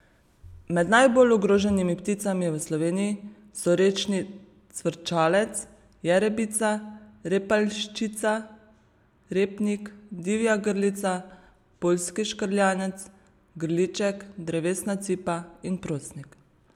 Med najbolj ogroženimi pticami v Sloveniji so rečni cvrčalec, jerebica, repaljščica, repnik, divja grlica, poljski škrjanec, grilček, drevesna cipa in prosnik.